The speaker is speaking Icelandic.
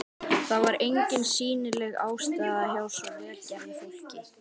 Það var engin sýnileg ástæða hjá svo vel gerðu fólki.